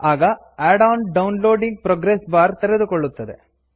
ಆಗ add on downloading progress bar ತೆರೆದುಕೊಳ್ಳುತ್ತದೆ